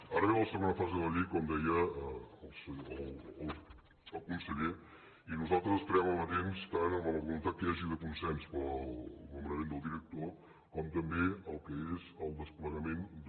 ara ve la segona fase de la llei com deia el conseller i nosaltres estarem amatents tant a la voluntat que hi hagi de consens per al nomenament del director com també el que és el desplegament de